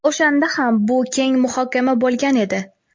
O‘shanda ham bu keng muhokama bo‘lgan edi.